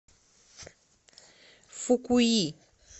фукуи